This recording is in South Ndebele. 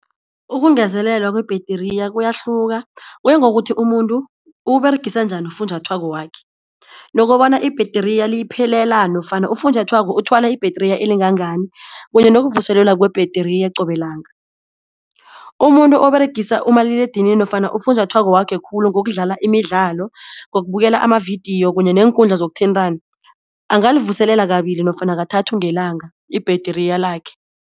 Ukungezelelwa kwebhetriya kuyahluka kuya ngokuthi umuntu uwUberegisa njani ufunjathwako wakhe nokobana ibhetriya liyiphelela nofana ufunjathwako uthwala ibhetriya elingangani kunye nokuvuselelwa kwebhetriya qobe langa. Umuntu oberegisa umaliledinini nofana ufunjathwako wakhe khulu ngokudlala imidlalo, ngokubukela amavidiyo kunye neenkundla zokuthintana angalivuselela kabili nofana kathathu ngelanga ibhetriya lakhe.